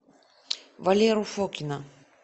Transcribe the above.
валеру фокина